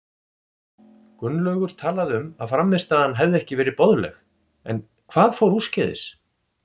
Gunnlaugur talaði um að frammistaðan hefði ekki verið boðlegt, en hvað fór úrskeiðis?